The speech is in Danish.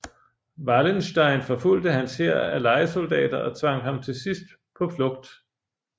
Wallenstein forfulgte hans hær af lejesoldater og tvang ham til sidst på flugt